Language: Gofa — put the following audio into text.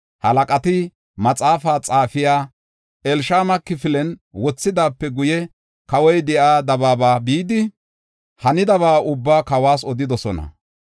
Halaqati maxaafa xaafiya Elishama kifilen wothidaape guye, kawoy de7iya dabaaba bidi, hanidaba ubbaa kawas odidosona.